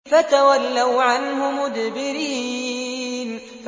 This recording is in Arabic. فَتَوَلَّوْا عَنْهُ مُدْبِرِينَ